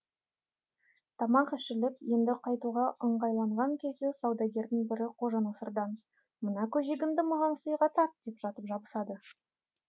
тамақ ішіліп енді қайтуға ыңғайланған кезде саудагердің бірі қожанасырдан мына көжегіңді маған сыйға тарт деп жатып жабысады